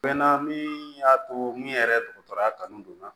Mɛ na min y'a to min yɛrɛ dɔgɔtɔrɔya kanu donna